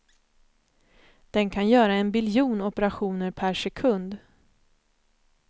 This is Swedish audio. Den kan göra en biljon operationer per sekund.